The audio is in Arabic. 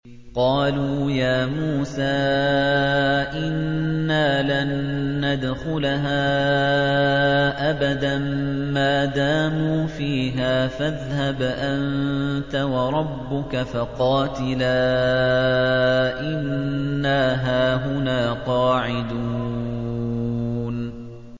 قَالُوا يَا مُوسَىٰ إِنَّا لَن نَّدْخُلَهَا أَبَدًا مَّا دَامُوا فِيهَا ۖ فَاذْهَبْ أَنتَ وَرَبُّكَ فَقَاتِلَا إِنَّا هَاهُنَا قَاعِدُونَ